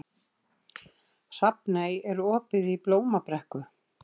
Hugborg, hvaða sýningar eru í leikhúsinu á fimmtudaginn?